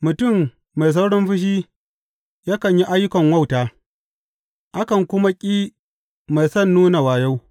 Mutum mai saurin fushi yakan yi ayyukan wauta, akan kuma ƙi mai son nuna wayo.